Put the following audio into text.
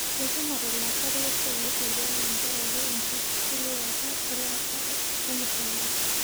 Eikwamate laasak lesia le sipitali tekaraki enkishiliwa elaata olmushaara.